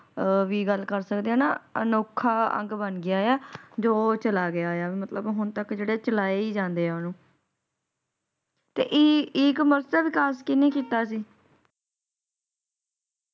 ਆਹ ਵੀ ਗੱਲ ਕਰ ਸਕਦੇ ਹਾ ਨਾ ਅਨੋਖਾ ਅੰਗ ਬਣ ਗਿਆ ਆ ਜੋ ਚਲਾ ਗਯਾ ਆ ਮਤਲਬ ਹੁਣ ਤਕ ਜੇੜੇ ਚਲਾਇ ਜਾਂਦੇ ਆ ਉਹਨੂੰ । ਤੇ EE-commerce ਦਾ ਵਿਕਾਸ ਕਿੰਨੇ ਕੀਤਾ ਸੀ ।